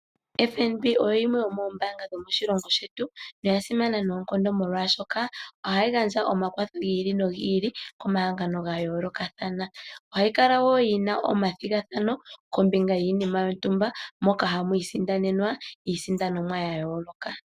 FNB oyo yimwe yomoombaanga dhomoshilongo shetu, noya simana noonkondo, molwashoka ohayi gandja omakwatho gi ili nogi ili komahangano ga yoolokathana. Ohayi kala wo yi na omathigathano kombinga yiinima yontumba, moka hamu isindanenwa iisindanomwa ya yooloka.